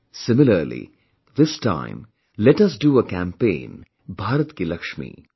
Similarly, this time, let us do a campaign BHARAT KI LAXMI